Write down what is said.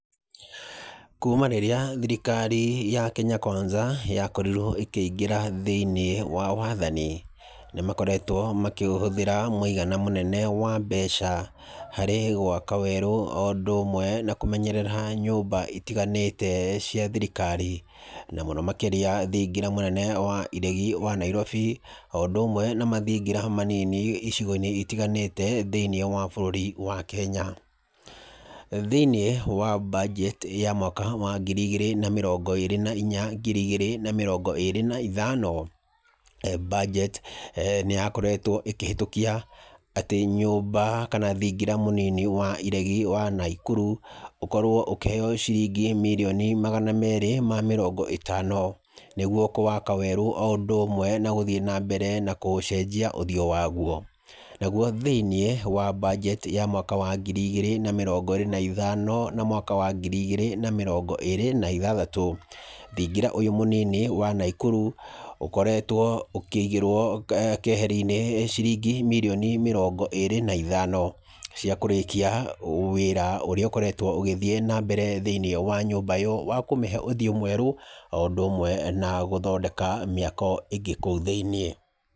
Kuma rĩrĩa thirikari ya Kenya Kwanza yakorirwo ĩkĩingĩra thĩinĩ wa wathani, nĩ makoretwo makĩhũthĩra mũigana mũnene wa mbeca harĩ gwaka werũ o ũndu ũmwe na kũmenyerera nyũmba itiganĩte cia thirikari. Na mũno makĩria thingira mũnene wa iregi wa Nairobi o ũndũ ũmwe na mathingira manini icigo-inĩ itiganĩte thĩiniĩ wa bũrũri wa Kenya. Thĩinĩ wa budget ya mwaka wa ngiri igĩrĩ na mĩrongo irĩ na inya ngiri igĩrĩ na mĩrongo ĩrĩ na ithano, budget nĩ yakoretwo ĩkĩhetũkia atĩ nyũmba kana thingira mũnini wa iregi wa Naikuru ũkorwo ũkĩheo ciringi mirioni magana merĩ ma mĩrongó ĩtano nĩguo kũwaka werũ o ũndũ ũmwe na gũthiĩ na mbere na kũũcenjia ũthiũ waguo. Naguo thĩiniĩ wa budget ya mwaka wa ngiri igĩrĩ na mĩrongo ĩrĩ na ithano na mwaka wa ngiri igĩrĩ na mĩrongo ĩrĩ na ithathatũ, thingira ũyũ mũnini wa Naikuru ũkoretwo ũkĩigĩrwo keheri-inĩ ciringi mirioni mĩrongo ĩrĩ na ithano cia kũrĩkia wĩra ũrĩa ũkoretwo ũgĩthiĩ na mbere thĩinĩ wa nyũmba ĩyo wa kũmĩhe ũthiũ mwerũ o ũndũ umwe na gũthondeka mĩako ĩngĩ kũu thĩinĩ.